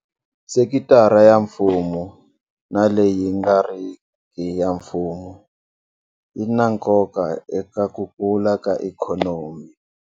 Sekitara ya mfumo na leyi nga riki ya mfumo yi na nkoka eka ku kula ka ikhonomi.